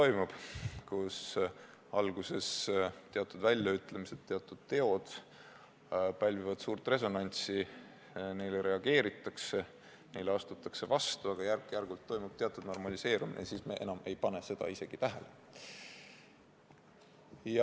Alguses pälvivad teatud väljaütlemised, teatud teod suurt resonantsi, neile reageeritakse, neile astutakse vastu, aga järk-järgult toimub teatud normaliseerumine ja siis me ei pane enam selliseid asju isegi tähele.